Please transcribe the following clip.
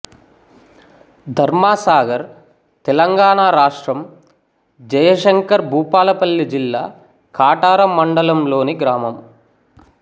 ధర్మసాగర్ తెలంగాణ రాష్ట్రం జయశంకర్ భూపాలపల్లి జిల్లా కాటారం మండలంలోని గ్రామం